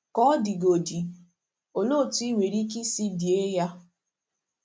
Ka ọ dịgodị, olee otú i nwere ike isi die ya?